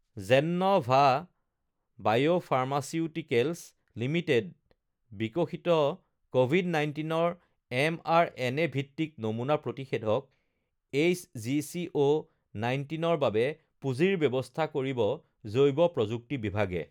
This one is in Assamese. জেন্ন ভা বায় ফাৰ্মাচিউটিকেলছ লিমিটেড বিকশিত কভিড ১৯ৰ এমআৰএনএ ভিত্তিক নমুনা প্ৰতিষেধক এইচজিচিঅ ১৯ৰ বাবে পুঁজিৰ ব্যৱস্থা কৰিব জৈৱ প্ৰযুক্তি বিভাগে